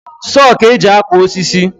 Soo ka eji akwa osisi